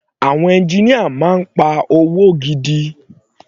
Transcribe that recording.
Àwọn engineer máa ń pa owó gidi.